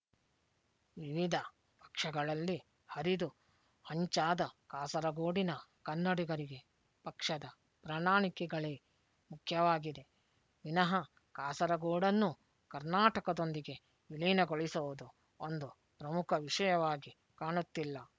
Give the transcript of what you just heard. ವಿವಿಧ ಪಕ್ಷಗಳಲ್ಲಿ ಹರಿದು ಹಂಚಾದ ಕಾಸರಗೋಡಿನ ಕನ್ನಡಿಗರಿಗೆ ಪಕ್ಷದ ಪ್ರಣಾಳಕೆಗಳೇ ಮುಖ್ಯವಾಗಿದೆ ವಿನಹ ಕಾಸರಗೋಡನ್ನು ಕರ್ನಾಟಕದೊಂದಿಗೆ ವಿಲೀನಗೊಳಿಸುವುದು ಒಂದು ಪ್ರಮುಖ ವಿಷಯವಾಗಿ ಕಾಣುತ್ತಿಲ್ಲ